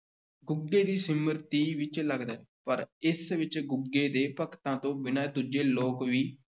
ਗੁੱਗੇ ਦੀ ਸਿਮਰਤੀ ਵਿੱਚ ਲੱਗਦਾ ਹੈ, ਪਰ ਇਸ ਵਿੱਚ ਗੁੱਗੇ ਦੇ ਭਗਤਾਂ ਤੋਂ ਬਿਨਾਂ ਦੂਜੇ ਲੋਕ ਵੀ